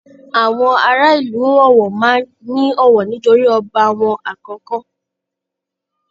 Àwọn ará ìlú Ọ̀wọ̀ máa ń ní ọ̀wọ̀ nítorí ọba wọn àkọ́kọ́